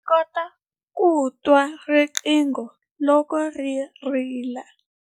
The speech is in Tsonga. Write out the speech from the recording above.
Ndzi kota ku twa riqingho loko ri rila.